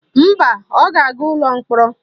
Mba, ọ ga-aga ụlọ mkpọrọ